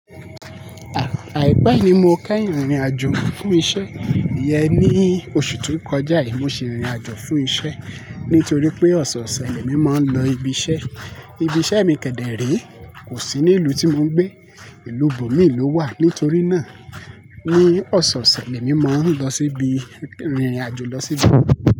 À-Àìpẹ́ ni mo kẹ́yìn rìnrìn àjò fún isẹ́, ìyẹn ní oṣù tó kọjá yìí mo sì rìnrìn àjò fún isẹ́ nítorí pé ọ̀sọ̀ọ̀sẹ̀ mi máa ń lọ ibi iṣẹ́. Ibi iṣẹ́ mi kẹ̀dẹ̀ re, kò sí ní ìlú tí mo ń gbé, ìlú bòmíì ló wà. Nítorí náà ní ọ̀sọ̀ọ̀sẹ̀ mi mo ń lọ síbi, rìnrìn àjò lọ síbi.